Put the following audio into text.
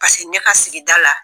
Paseke ne ka sigida la